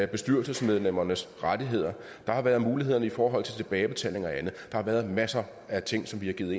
bestyrelsesmedlemmernes rettigheder der har været mulighederne i forhold til tilbagebetaling og andet der har været masser af ting som vi har givet